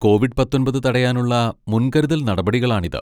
Covid പത്തൊൻപത് തടയാനുള്ള മുൻകരുതൽ നടപടികളാണിത്.